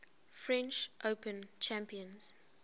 french open champions